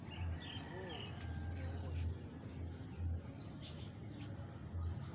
wo o thomilego go šoma